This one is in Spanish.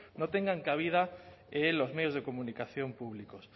no tengan cabida en los medios de comunicación públicos